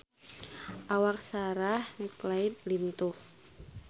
Awak Sarah McLeod lintuh